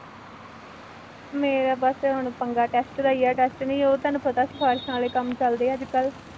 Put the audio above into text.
ਮੇਰਾ ਬਸ ਹੁਣ ਪੰਗਾ test ਦਾ ਹੀ ਹੈ, test ਲਈ ਉਹ ਤੁਹਾਨੂੰ ਪਤਾ ਸ਼ਿਫਾਰਿਸ਼ਾਂ ਵਾਲੇ ਕੰਮ ਚੱਲਦੇ ਆ ਅੱਜ ਕੱਲ੍ਹ,